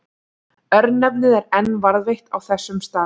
Örnefnið er enn varðveitt á þessum stað.